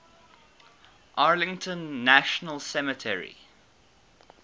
arlington national cemetery